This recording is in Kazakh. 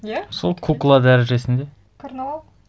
иә сол кукла дәрежесінде карнавал